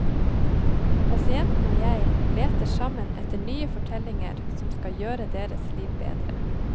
Pasienten og jeg leter sammen etter nye fortellinger som skal gjøre deres liv bedre.